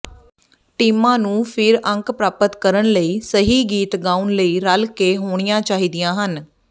ਟੀਮਾਂ ਨੂੰ ਫਿਰ ਅੰਕ ਪ੍ਰਾਪਤ ਕਰਨ ਲਈ ਸਹੀ ਗੀਤ ਗਾਉਣ ਲਈ ਰਲਕੇ ਹੋਣੀਆਂ ਚਾਹੀਦੀਆਂ ਹਨ